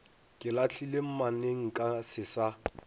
ke lahlile mmanenka se sa